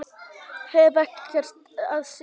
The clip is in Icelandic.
Hef ekkert að segja